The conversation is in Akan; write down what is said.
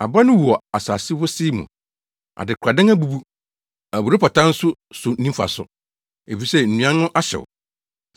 Aba no wu wɔ asase wosee mu, adekoradan abubu, aburowpata nso so nni mfaso, efisɛ nnuan no ahyew.